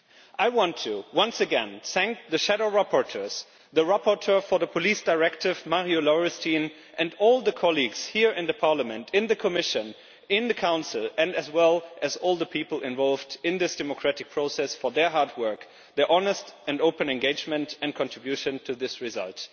I want once again to thank the shadow rapporteurs, the rapporteur for the Police Directive, Marju Lauristin, and all the colleagues here in Parliament, in the Commission and in the Council, as well as all the people involved in this democratic process, for their hard work, their honest and open engagement and contribution to this result.